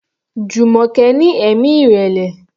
Jumoke ní ẹ̀mí ìrẹ̀lẹ̀.